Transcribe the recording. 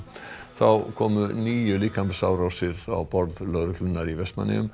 þá komu níu líkamsárásir á borð lögreglunnar í Vestmannaeyjum